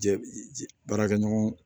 Jɛ baarakɛ ɲɔgɔn